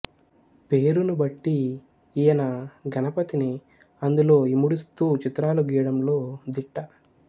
పేరును బట్టి ఈయన గణపతిని అందులో ఇముడుస్తూ చిత్రాలు గీయడంలో దిట్ట